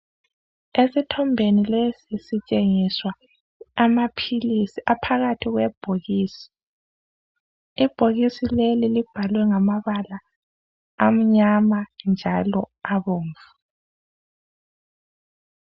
Esithombeni lesi sitshengiswa amaphilisi aphakathi kwebhokisi. Ibhokisi leli libhalwe ngamabala amnyama njalo abomvu.